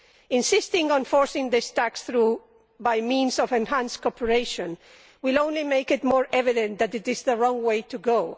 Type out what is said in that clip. Insisting on forcing this tax through by means of enhanced cooperation will only make it more evident that it is the wrong way to go.